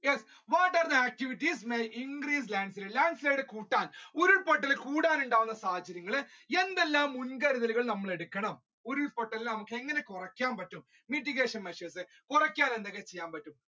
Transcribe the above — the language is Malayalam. yes, what are the activities may increase landslide, landslide കൂട്ടാൻ ഉരുൾപൊട്ടൽ കൂടാൻ ഉണ്ടാവുന്ന സാധ്യതകൾ എന്തെല്ലാം മുൻകരുതൽ നമ്മൾ എടുക്കണം ഉരുൾ പൊട്ടൽ എങ്ങനെ കുറക്കാൻ പറ്റും mitigation measures കുറയ്ക്കാൻ എന്തൊക്കെ ചെയ്യാൻ പറ്റും